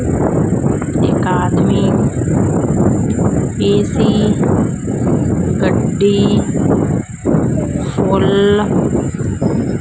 ਇੱਕ ਆਦਮੀ ਏ_ਸੀ ਗੱਡੀ ਫੁੱਲ--